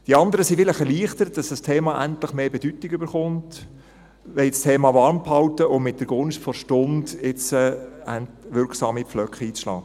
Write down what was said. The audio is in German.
Die anderen sind vielleicht erleichtert, dass das Thema endlich mehr Bedeutung erhält, haben das Thema warmgehalten, um mit der Gunst der Stunde jetzt wirksam Pflöcke einzuschlagen.